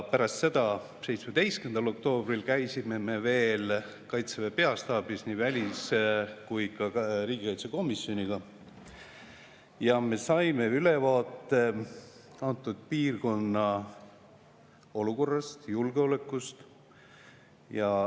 Pärast seda, 17. oktoobril käisime me veel Kaitseväe peastaabis nii välis- kui ka riigikaitsekomisjoniga ja saime ülevaate antud piirkonna olukorrast, julgeolekust.